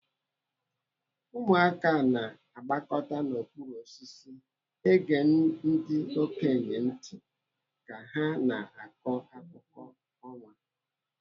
Ụmụaka na-agbakọtan'okpuru osisi ege ndi okenye ntị ka ha na-akọ akụkọ ọnwa.